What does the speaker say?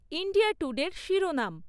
India টুডের শিরোনাম